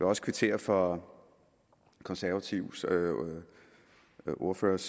også kvittere for konservatives ordførers